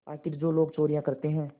आखिर जो लोग चोरियॉँ करते हैं